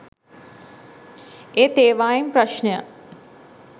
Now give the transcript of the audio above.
ඒත් ඒවායෙන් ප්‍රශ්නය